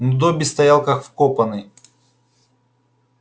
но добби стоял как вкопанный